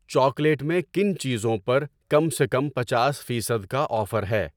Chocolate میں کن چیزوں پر کم سے کم پنچاس فیصد کا آفر ہے؟